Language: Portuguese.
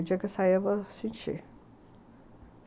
O dia que eu sair, eu vou sentir.